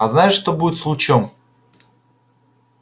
а знаешь что будет с лучом